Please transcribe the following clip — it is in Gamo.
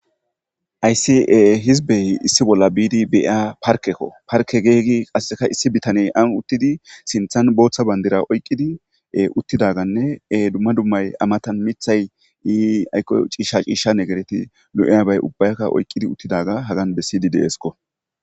Hayssi hizbey issi bolla biidi be'iya parkkeko. Parkke giyagi issi bitaney aan uttidi sinththan booththa bandira oyiqqidi uttidaganne dumma dummay a matan miththay aykko ciishsha ciishsha negereti lo'iyaba ubbaykka oyiqqi uttidaba hagan bessidi de'esikko.